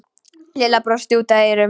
Lilla brosti út að eyrum.